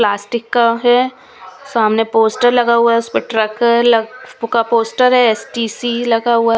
Plastic का है। सामने पोस्टर लगा हुआ है उस पे ट्रक लग पुका पोस्टर है। एस_टि_सी लगा हुआ हैं।